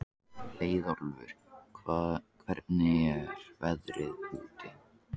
Leiðólfur, hvernig er veðrið úti?